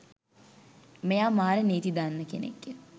මෙයා මාර නීති දන්න කෙනෙක් ය.